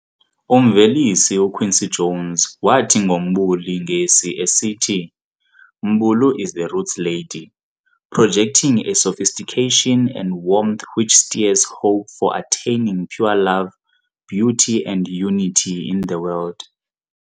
Umvelisi uQuincy Jones wathi ngo Mbuli ngesi esithi "Mbulu is the roots lady, projecting a sophistication and warmth which stirs hope for attaining pure love, beauty, and unity in the world."